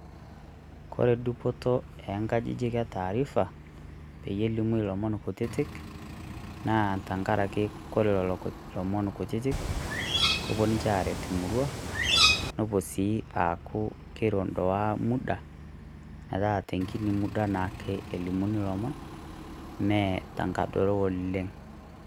Kore dupoto eengajijik etaarifa peyie elimu eliimu ilomon kutitik naa tengaraki ore ilomon kutitik naa kepuo ninche aaret emurua nepuo sii aaku kero naa emuda naa tengini muda elimuni ilomon mee tengadoro oleng'.